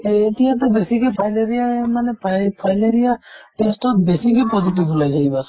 এহ এতিয়াতো বেছিকৈ fileria মানে ফাই fileria test ত বেছিকৈ positive উলাইছে কিবা